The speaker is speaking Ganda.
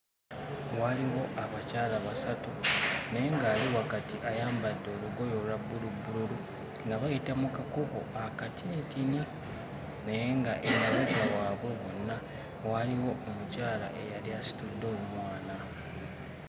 Waliwo abakyala basatu naye nga ali wakati ayambadde olugoye olwa bbulubbululu nga bayita mu kakubo akatinitini naye ng'emabega waabwe bonna waaliwo omukyala eyali asitudde omwana.